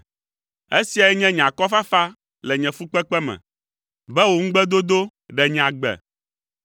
Esiae nye nye akɔfafa le nye fukpekpe me, be wò ŋugbedodo ɖe nye agbe.